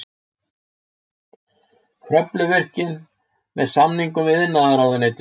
Kröfluvirkjun með samningum við iðnaðarráðuneytið.